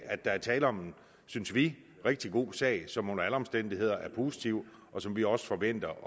at der er tale om synes vi en rigtig god sag som under alle omstændigheder er positiv og som vi også forventer